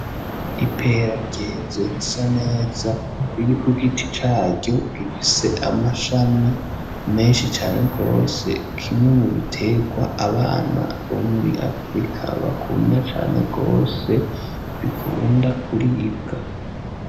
Ipera ryeze risa neza riri ku giti caryo rifise amashami menshi cane gose, kimwe mu bitegwa abana bo muri afrika bakunda cane gose bikunda kuribwa.